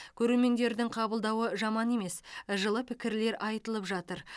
көрермендердің қабылдауы жаман емес жылы пікірлер айтылып жатыр